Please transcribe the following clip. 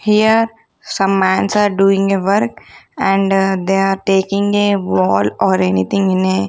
here some mans are doing a work and they are taking a wall or anything in a--